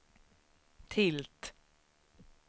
tilt